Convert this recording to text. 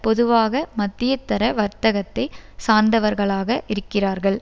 பொதுவாக மத்தியதர வர்த்தக்கத்தை சார்ந்தவர்களாக இருக்கிறார்கள்